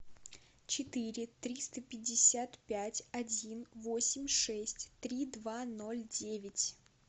четыре триста пятьдесят пять один восемь шесть три два ноль девять